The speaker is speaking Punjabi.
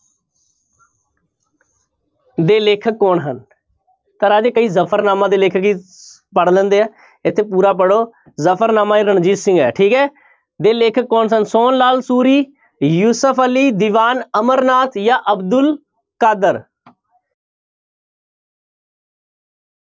ਦੇ ਲੇਖਕ ਕੌਣ ਹਨ, ਤਾਂ ਰਾਜੇ ਕਈ ਜਫ਼ਰਨਾਮਾ ਦੇ ਲੇਖਕ ਹੀ ਪੜ੍ਹ ਲੈਂਦੇ ਹੈ ਇੱਥੇ ਪੂਰਾ ਪੜ੍ਹੋ, ਜਫ਼ਰਨਾਮਾ-ਏ-ਰਣਜੀਤ ਸਿੰਘ ਹੈ ਠੀਕ ਹੈ ਦੇ ਲੇਖਕ ਕੌਣ ਸਨ, ਸੋਹਨ ਲਾਲ ਸੂਰੀ, ਯੂਸਫ਼ ਅਲੀ, ਦੀਵਾਨ ਅਮਰਨਾਥ ਜਾਂ ਅਬਦੁਲ ਕਾਦਰ।